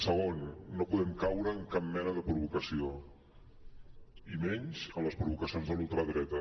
segon no podem caure en cap mena de provocació i menys en les provocacions de la ultradreta